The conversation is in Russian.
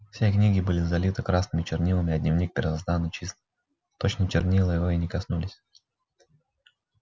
все книги были залиты красными чернилами а дневник первозданно чист точно чернила его и не коснулись